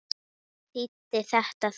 Hvað þýddi þetta þá?